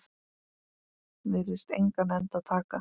Virðist engan enda taka.